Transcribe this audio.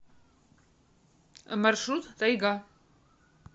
маршрут тайга